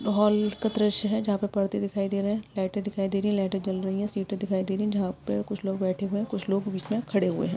Hall का दृश्य है जहापे परदे दिखाई दे रहे है लाईटे दिखाई दे रही है लाईटे जल रही है सीट दिखाई दे रही है जहा पे कुछ लोग बैठे हुए है कुछ लोग खड़े हुए है।